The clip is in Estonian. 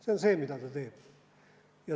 See on see, mida see teeb.